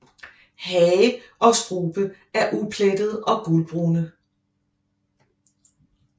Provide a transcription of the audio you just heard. Hage og strube er uplettede og gulbrune